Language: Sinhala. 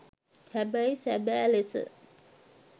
හැබැයි සැබෑ ලෙස